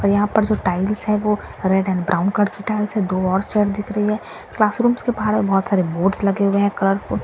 यहां पर जो टाइल्स हैं वो रेड एंड ब्राउन कलर की दो और चेयर दिख रहीं है क्लास रूम्स के बाहर बहोत सारे बोर्ड लगे हुए हैं कलरफुल --